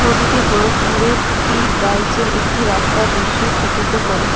ছবিটি গোরোখপুরের পিপ্রাইজের একটি রাস্তার দিশ্য চিত্তিত করে।